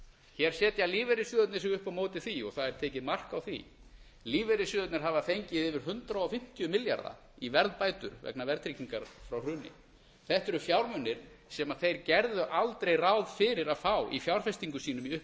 hér setja lífeyrissjóðirnir sig upp á móti því og það er tekið mark á því lífeyrissjóðirnir hafa fengið yfir hundrað fimmtíu milljarðar í verðbætur vegna verðtryggingar frá hruni þetta eru fjármunir sem þeir gerðu aldrei ráð fyrir að fá í fjárfestingum sínum í